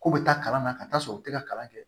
K'u bɛ taa kalan na ka taa sɔrɔ u tɛ ka kalan kɛ